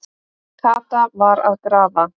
Kata var að grafa.